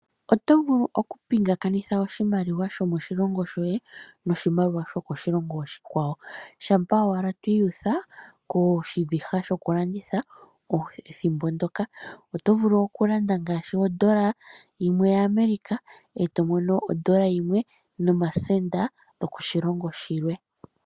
Oto vulu okupingakanitha oshimaliwa shomoshilongo shoye noshimaliwa shokoshilongo oshikwawo shampa owala twiiyutha koshiviha shokulanditha ethimbo ndoka. Oto vulu okulanda ngaashi ondola yimwe yaAmerica e to mono ondola yimwe nomasenda yokoshilongo shilwe.